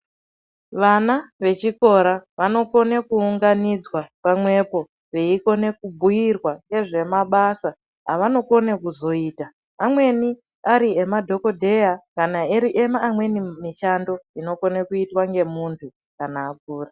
Vana vechikora vanokone kuunganidzwa pamwepo veikone kubhuyirwa ngezvemabasa avanokone kuzoita amweni ariemadhokodheya kana ari eimweni mishando inokone kuitwa ngemunhu kana akura.